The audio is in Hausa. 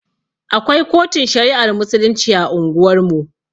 Akwai kotun shari'ar musulunci a unguwar mu